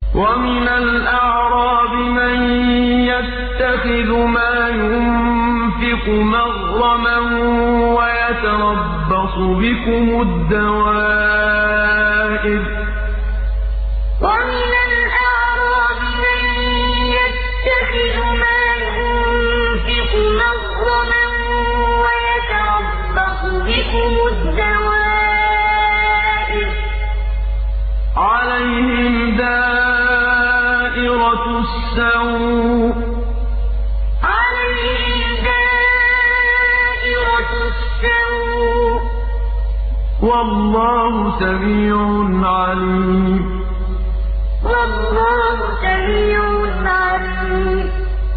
وَمِنَ الْأَعْرَابِ مَن يَتَّخِذُ مَا يُنفِقُ مَغْرَمًا وَيَتَرَبَّصُ بِكُمُ الدَّوَائِرَ ۚ عَلَيْهِمْ دَائِرَةُ السَّوْءِ ۗ وَاللَّهُ سَمِيعٌ عَلِيمٌ وَمِنَ الْأَعْرَابِ مَن يَتَّخِذُ مَا يُنفِقُ مَغْرَمًا وَيَتَرَبَّصُ بِكُمُ الدَّوَائِرَ ۚ عَلَيْهِمْ دَائِرَةُ السَّوْءِ ۗ وَاللَّهُ سَمِيعٌ عَلِيمٌ